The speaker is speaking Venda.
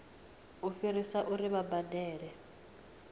u fhirisa uri vha badele